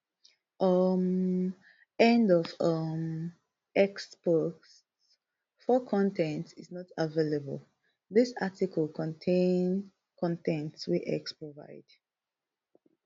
um end of um x post four con ten t is not available dis article contain con ten t wey x provide